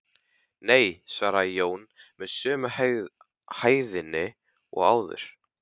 Nei, svaraði Jón með sömu hægðinni og áður.